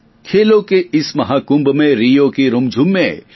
ખેલોં કે ઇસ મહાકુંભ મેં રિયો કી રુમઞુમ મેં